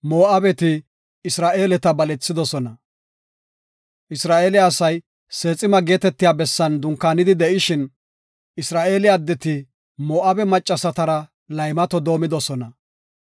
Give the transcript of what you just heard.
Isra7eele asay Seexima geetetiya bessan dunkaanidi de7ishin, Isra7eele addeti Moo7abe maccatara laymato doomidosona.